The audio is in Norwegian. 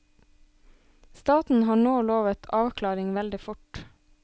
Staten har nå lovet avklaring veldig fort.